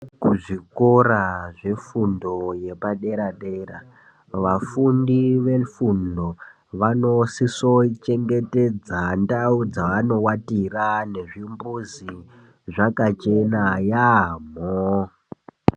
Kuzvikora zvefundo yepadera-dera , vafundi vefundo, vanosisochengetedza ndau dzaanowatira nezvimbuzi zvakachena yaamho .